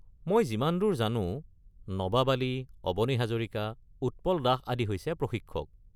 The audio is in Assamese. মই যিমান দূৰ জানো, নবাব আলি, অবনী হাজৰিকা, উৎপল দাস আদি হৈছে প্ৰশিক্ষক।